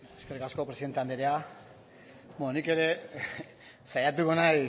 eskerrik asko presidente anderea nik ere saiatuko naiz